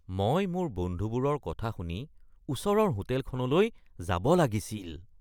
মই মোৰ বন্ধুবোৰৰ কথা শুনি ওচৰৰ হোটেলখনলৈ যাব লাগিছিল (আলহী)